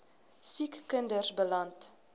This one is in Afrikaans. siek kinders beland